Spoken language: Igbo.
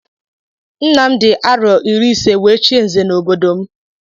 Nna m dị arọ iri ise wee chie nze n'obodo m